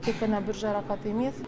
тек қана бір жарақат емес